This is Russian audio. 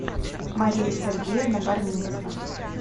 мария сергеевна барминцева